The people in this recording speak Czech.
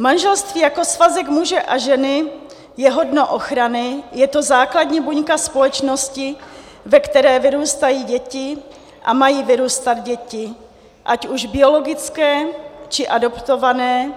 Manželství jako svazek muže a ženy je hodno ochrany, je to základní buňka společnosti, ve které vyrůstají děti a mají vyrůstat děti, ať už biologické, či adoptované